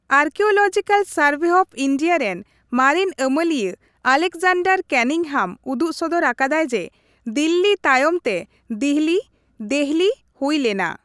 Archaeological Survey of India ᱨᱮᱱ ᱢᱟᱨᱮᱱ ᱟᱹᱢᱟᱹᱞᱤᱭᱟᱹ ᱟᱞᱮᱠᱡᱟᱱᱰᱟᱨ ᱠᱮᱱᱤᱝᱦᱟᱢ ᱩᱫᱩᱜᱥᱚᱫᱚᱨ ᱟᱠᱟᱫᱟᱭ ᱡᱮ, ᱫᱤᱞᱞᱤ ᱛᱟᱭᱚᱢ ᱛᱮ ᱫᱤᱦᱚᱞᱤ/ᱫᱮᱦᱚᱞᱤ ᱦᱩᱭ ᱞᱮᱱᱟ ᱾